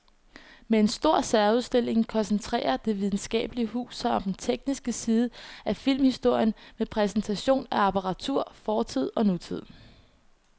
Med en stor særudstilling koncentrerer det videnskabelige hus sig om den tekniske side af filmhistorien med præsentation af apparatur fra fortid og nutid.